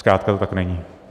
Zkrátka to tak není.